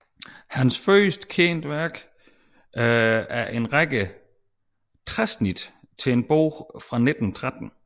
Hans første kendte værk er en række træsnit til en bog fra 1513